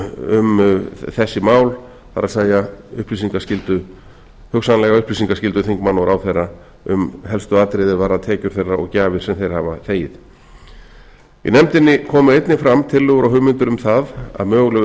siðareglna um þessi mál það er hugsanlega upplýsingaskyldu þingmanna og ráðherra um helstu atriði er varða tekjur þeirra og gjafir sem þeir hafa þegið í nefndin komu einnig fram tillögur og hugmyndir um að möguleg